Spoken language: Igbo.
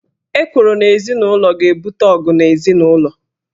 Ekworo n' ezinụlo ga-ebute ọgụ n' ezinụlọ.